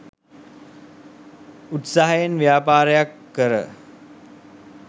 උත්සාහයෙන් ව්‍යාපාරයක් කර